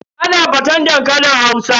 Ana faten dankalin Hausa.